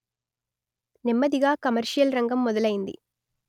నెమ్మదిగా కమర్షియల్ రంగం మొదలయింది